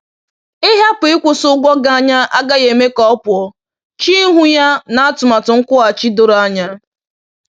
Ịhapụ ịkwụsị ụgwọ gị anya agaghị eme ka ọ pụọ; chee ihu ya na atụmatụ nkwụghachi doro anya